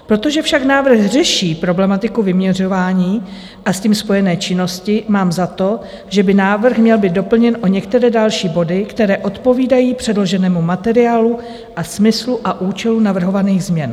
Protože však návrh řeší problematiku vyměřování a s tím spojené činnosti, mám za to, že by návrh měl být doplněn o některé další body, které odpovídají předloženému materiálu a smyslu a účelu navrhovaných změn.